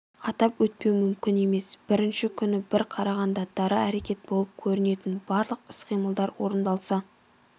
атап өтпеу мүмкін емес бірінші күні бір қарағанда дара әрекет болып көрінетін барлық іс-қимылдар орындалса